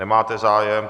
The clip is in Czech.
Nemáte zájem.